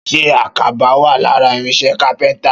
Ṣé àkàbà wà lára irinṣẹ́ kápẹ́ntà?